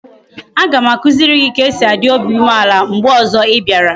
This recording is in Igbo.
Aga m akuziri gi ka e si a dị obi umeala mgbe ozo ị bịara